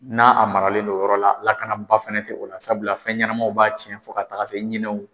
N'a a maralen don o yɔrɔ la lakanaba fana tɛ o la sabula fɛnɲɛnɛmaw b'a tiɲɛ fɔ ka taga se ɲinɛw.